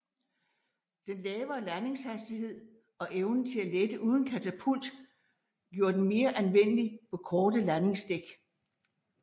Den lavere landingshastighed og evnen til at lette uden katapult gjorde den mere anvendelig på korte landingsdæk